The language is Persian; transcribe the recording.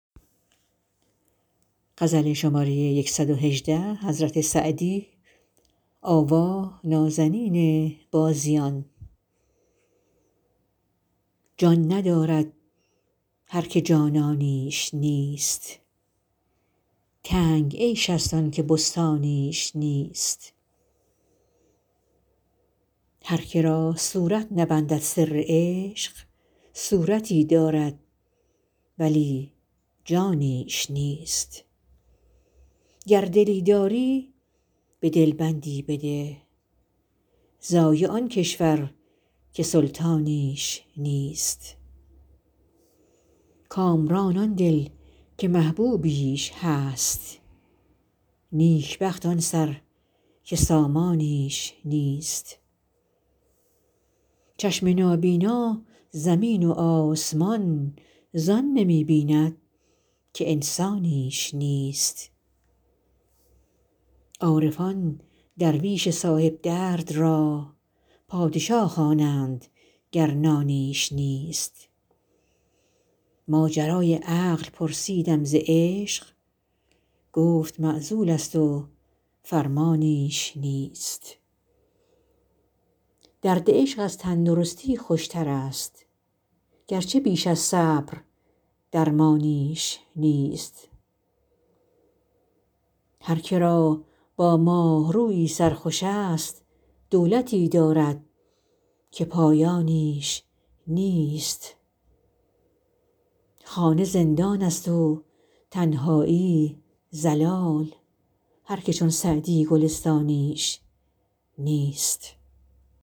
جان ندارد هر که جانانیش نیست تنگ عیش ست آن که بستانیش نیست هر که را صورت نبندد سر عشق صورتی دارد ولی جانیش نیست گر دلی داری به دل بندی بده ضایع آن کشور که سلطانیش نیست کامران آن دل که محبوبیش هست نیک بخت آن سر که سامانیش نیست چشم نابینا زمین و آسمان زان نمی بیند که انسانیش نیست عارفان درویش صاحب درد را پادشا خوانند گر نانیش نیست ماجرای عقل پرسیدم ز عشق گفت معزول ست و فرمانیش نیست درد عشق از تن درستی خوش ترست گرچه بیش از صبر درمانیش نیست هر که را با ماه رویی سر خوش ست دولتی دارد که پایانیش نیست خانه زندان ست و تنهایی ضلال هر که چون سعدی گلستانیش نیست